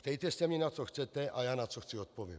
Ptejte se mě, na co chcete, a já, na co chci, odpovím.